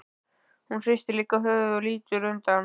Hún hristir líka höfuðið og lítur undan.